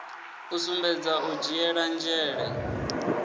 u sumbedza u dzhiela nzhele